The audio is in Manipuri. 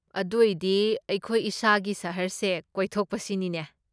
ꯑꯗꯣꯏꯗꯤ, ꯑꯩꯈꯣꯏ ꯏꯁꯥꯒꯤ ꯁꯍꯔꯁꯦ ꯀꯣꯏꯊꯣꯛꯄ ꯁꯤꯅꯤꯅꯦ?